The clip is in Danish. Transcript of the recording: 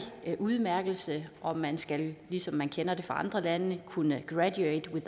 udmærkelse om man skal ligesom vi kender det fra andre lande kunne graduate